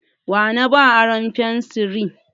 Wa na ba aron fensiri?